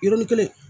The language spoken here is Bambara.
Yɔrɔnin kelen